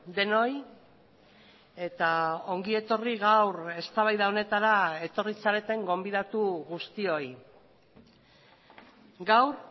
denoi eta ongi etorri gaur eztabaida honetara etorri zareten gonbidatu guztioi gaur